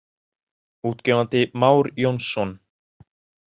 Útgefandi Már Jónsson.